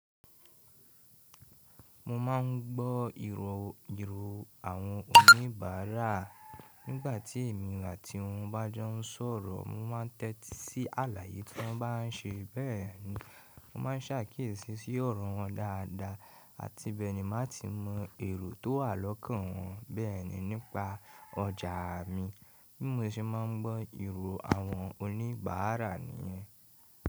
Mo máà ń gbọ́ ìrò àwọn oníbàárà nígbàtí èmi àti wọn bá jọ ń sọ̀rọ̀. Mo ma ń tẹ́tí sí àlàyé tí wọ́n bá ń ṣe bẹ́ẹ̀ni. Mo ma ń ṣàkíyèsí sí ọ̀rọ̀ wọn dáadáa àti bẹ́ẹ̀ ni má tíì mọ èrò tó wà lọ́kàn wọn bẹ́ẹ̀ni nípa ọjà mi bí mo ṣe má ń gbọ́ ìrò àwọn oníbàárà nìyẹn.